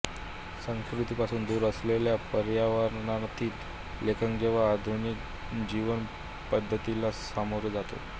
संस्कृतीपासून दूर असलेल्या पर्यावरणातील लेखक जेव्हा आधुनिक जीवनपध्दतीला सामोरा जातो